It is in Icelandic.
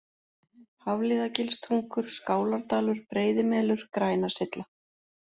Hafliðagilstungur, Skálardalur, Breiðimelur, Grænasylla